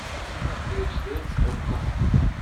эйч д окко